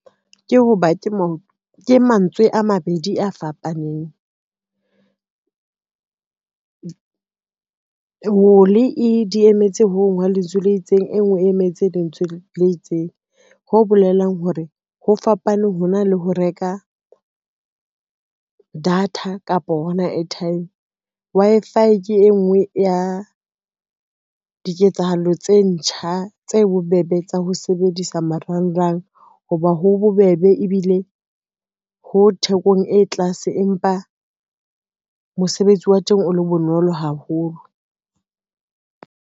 Ke ho ba ke mantswe a mabedi a fapaneng. Di emetse hong hwa lentswe le itseng, e ngwe e emetse lentswe le itseng. Ho bolelang hore ho fapane ho na le ho reka data kapa hona atime. Wi-Fi ke e ngwe ya diketsahalo tse ntjha, tse bobebe tsa ho sebedisa marangrang ho ba ho bobebe ebile ho thekong e tlase, empa mosebetsi wa teng o le bonolo haholo.